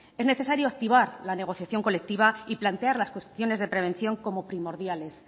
es necesario activar la negociación colectiva y plantear las cuestiones de prevención como primordiales